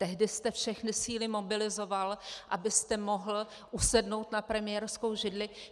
Tehdy jste všechny síly mobilizoval, abyste mohl usednout na premiérskou židli.